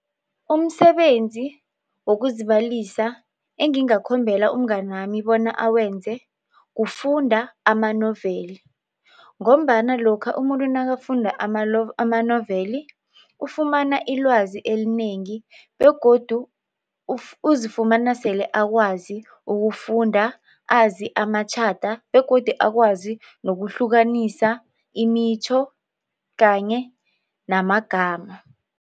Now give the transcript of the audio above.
Umsebenzi wokuzibalisa engingakhombela umnganami bona awenze kufunda amanoveli ngombana lokha umuntu nakafunda amanoveli ufumana ilwazi elinengi begodu uzifumana sele akwazi ukufunda azi amatjhada begodu akwazi nokuhlukanisa imitjho kanye namagama.